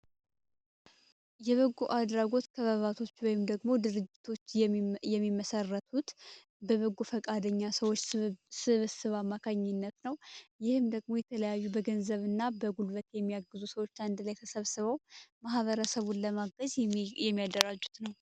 የበጎ አድራጎት ክበባቶች ወይም ደግሞ ድርጅቶች የሚመሠረቱት በበጎ ፈቃደኛ ሰዎች ስብስብ አማካኝነት ነው ይህም ደግሞ የተለያዩ በጉልበትና በገንዘብ ሰብስበው ማህበረሰብ ለማገዝ የሚያደራጁት ነው።